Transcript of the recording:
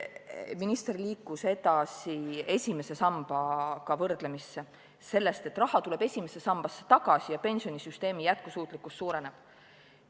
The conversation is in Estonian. Minister liikus edasi, võrdles esimese sambaga, rääkis sellest, et raha tuleb esimesse sambasse tagasi ja pensionisüsteemi jätkusuutlikkus suureneb.